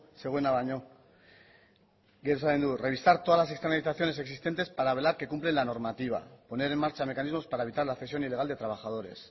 zegoena baino gero esaten du revisar todas las externalizaciones existentes para velar que cumplen la normativa poner en marcha mecanismos para evitar la cesión ilegal de trabajadores